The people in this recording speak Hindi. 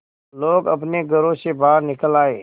लोग अपने घरों से बाहर निकल आए